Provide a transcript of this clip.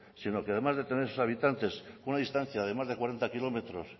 sino que además de tener esos habitantes con una distancia de más de cuarenta kilómetros